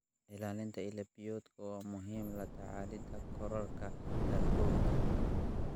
Ilaalinta ilo biyoodka waa muhiim la tacaalida kororka heerkulka.